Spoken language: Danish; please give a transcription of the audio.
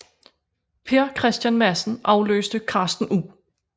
Per Kristian Madsen afløste Carsten U